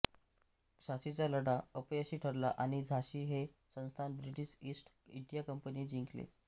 झाशीचा लढा अपयशी ठरला आणि झाशी हे संस्थान ब्रिटिश ईस्ट इंडिया कंपनीने जिंकले